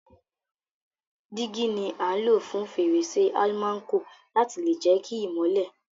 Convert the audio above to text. Dígí ni a n lo fún fèrèsé almanco láti lè jẹ ki ìmọ́lẹ̀